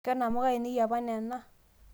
ke namuka ainei e apa nena